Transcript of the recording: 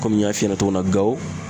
n y'a f'i ɲɛna cogo min na ,Gawo